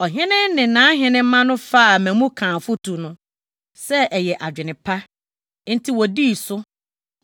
Ɔhene no ne nʼahenemma no faa Memukan afotu no sɛ ɛyɛ adwene pa, enti wodii so.